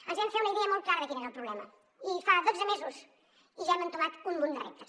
ens vam fer una idea molt clara de quin era el problema i fa dotze mesos i ja hem entomat un munt de reptes